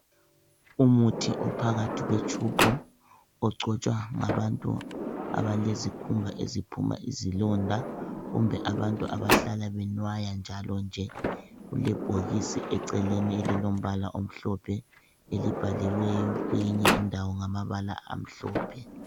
Umuthi ophakathi kwetshubhu ogcotshwa ngabantu abalezikhumba eziphuma izilonda kumbe abantu abahlala benwaya njalo nje. Kulebhokisi eceleni lilombala omhlophe elibhaliweyo kweyinye indawo ngamabala amhlophe.